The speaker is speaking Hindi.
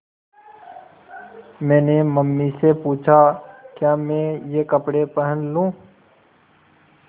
मैंने मम्मी से पूछा क्या मैं ये कपड़े पहन लूँ